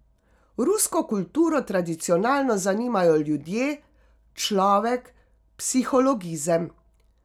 Rusko kulturo tradicionalno zanimajo ljudje, človek, psihologizem.